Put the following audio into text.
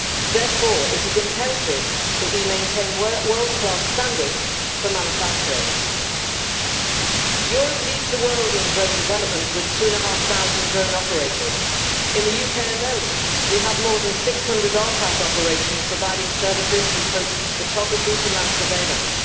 Therefore, it is imperative that we maintain world class standards for manufacturing. Europe leads the world in drone development, with two and a half thousand drone operators. In the UK alone we have more than 600 RPAS operations providing services from photography to land surveillance.